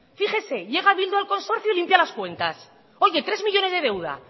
fíjese llega bildu al consorcio y limpia las cuentas tres millónes de deuda